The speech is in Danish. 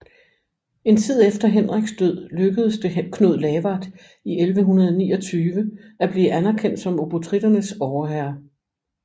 En tid efter Henriks død lykkedes det Knud Lavard i 1129 at blive anerkendt som obotritternes overherre